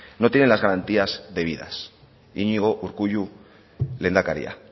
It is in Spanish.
no tiene las garantías de vida iñigo urkullu lehendakaria